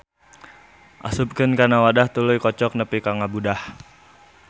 Asupkeunkana wadah tuluy kocok nepi ka ngabudah.